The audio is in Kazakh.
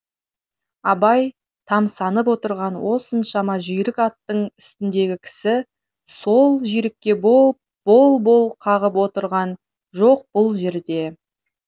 абай тамсанып отырған осыншама жүйрік аттың үстіндегі кісі сол жүйрікке бол бол қағып отырған жоқ бұл жерде